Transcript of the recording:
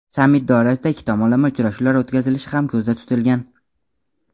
sammit doirasida ikki tomonlama uchrashuvlar o‘tkazilishi ham ko‘zda tutilgan.